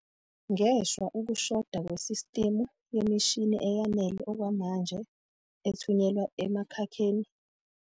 Ngeshwa, ukushoda kwesistimu yemishini eyanele okwamanje ethunyelwa emakhakheni